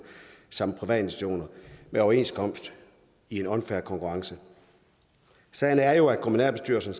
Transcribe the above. samt private institutioner med overenskomst i en unfair konkurrence sagen er jo at kommunalbestyrelsen